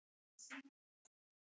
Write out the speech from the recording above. Selfoss varð sveitin mín.